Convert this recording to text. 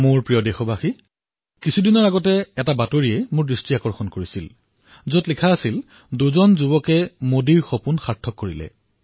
মোৰ মৰমৰ দেশবাসীসকল কিছুদিন পূৰ্বে মই এটা বাতৰিত প্ৰত্যক্ষ কৰিছিলো যে দুজন যুৱকে মোদীৰ সপোন বাস্তৱায়িত কৰিলে